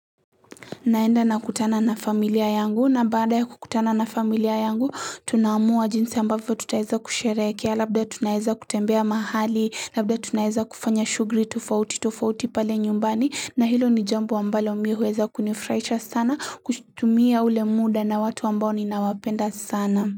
Naenda na kutana na familia yangu na baada ya kutana na familia yangu tunaamua jinsi ambavyo tutaeza kusherehekea labda tunaeza kutembea mahali labda tunaeza kufanya shugli tofauti tofauti pale nyumbani na hilo ni jambo ambalo mi huweza kunifuraisha sana kutumia ule muda na watu ambao ninawapenda sana.